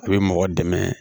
A bɛ mɔgɔ dɛmɛ